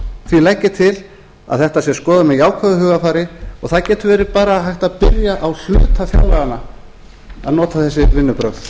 því legg ég til að þetta sé skoðað með jákvæðu hugarfari og það getur verið bara hægt að byrja á hluta fjárlaganna að nota þessi vinnubrögð